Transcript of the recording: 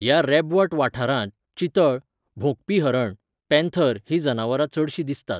ह्या रेबवट वाठारांत चितळ, भोंकपी हरण, पॅन्थर हीं जनावरां चडशीं दिसतात.